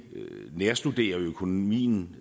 nærstuderer økonomien